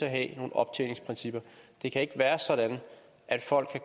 at have nogle optjeningsprincipper det kan ikke være sådan at folk